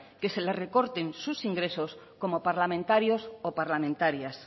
que se les recorten sus ingresos como parlamentarios o parlamentarias